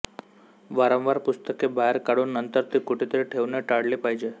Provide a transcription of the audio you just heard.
वारंवार पुस्तके बाहेर काढून नंतर ती कुठेतरी ठेवणे टाळले पाहिजे